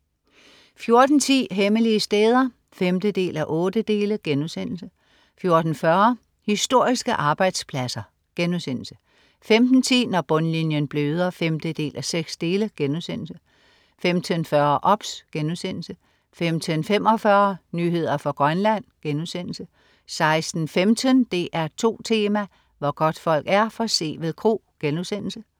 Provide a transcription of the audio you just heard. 14.10 Hemmelige steder 5:8* 14.40 Historiske arbejdspladser* 15.10 Når bundlinjen bløder 5:6* 15.40 OBS* 15.45 Nyheder fra Grønland* 16.15 DR2 Tema: Hvor godtfolk er, Sevel Kro*